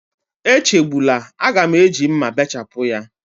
Echegbula, a ga m eji mma bechapụ ya.